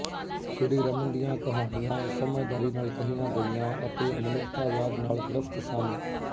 ਸ਼੍ਰੀਰਮਨ ਦੀਆਂ ਕਹਾਣੀਆਂ ਸਮਝਦਾਰੀ ਨਾਲ ਕਹੀਆਂ ਗਈਆਂ ਅਤੇ ਮਨੁੱਖਤਾਵਾਦ ਨਾਲ ਗ੍ਰਸਤ ਸਨ